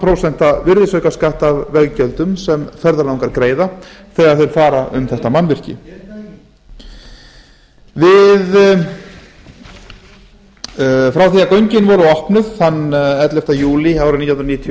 prósenta virðisaukaskatt af veggjöldum sem ferðalangar greiða þegar þeir fara um þetta mannvirki frá því að göngin voru opnuð þann ellefta júlí árið nítján hundruð